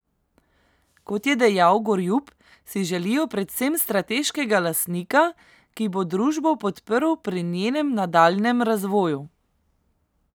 Kot je dejal Gorjup, si želijo predvsem strateškega lastnika, ki bo družbo podprl pri njenem nadaljnjem razvoju.